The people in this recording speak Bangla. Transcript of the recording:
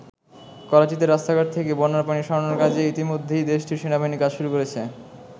করাচীতে রাস্তাঘাট থেকে বন্যার পানি সরানোর কাজে ইতিমধ্যেই দেশটির সেনাবাহিনী কাজ শুরু করেছে।